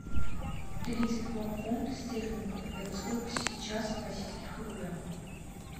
тридцать два фунта стерлингов это сколько сейчас в российских рублях